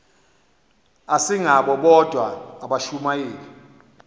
asingabo bodwa abashumayeli